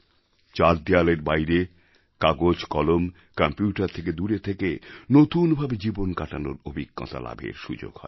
চার দেওয়ালের বাইরে কাগজকলম কম্প্যুটার থেকে দূরে থেকে নতুন ভাবে জীবন কাটানোর অভিজ্ঞতা লাভের সুযোগ হয়